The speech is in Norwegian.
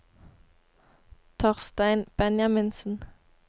Torstein Benjaminsen